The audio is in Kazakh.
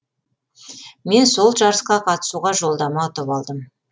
мен сол жарысқа қатысуға жолдама ұтып алдым